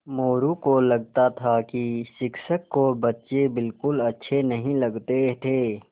मोरू को लगता था कि शिक्षक को बच्चे बिलकुल अच्छे नहीं लगते थे